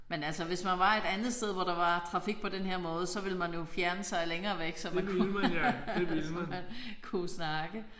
Men altså hvis man var et andet sted hvor der var trafik på denne her måde så ville man jo fjerne sig længere væk så man kunne så man kunne kunne snakke